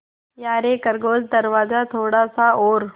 यारे खरगोश दरवाज़ा थोड़ा सा और